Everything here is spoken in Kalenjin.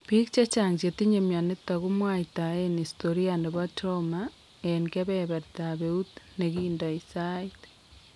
Biik chechang' chetinye myonitok komwaitaen historia nebo trauma en kebebertab eut nekindo sait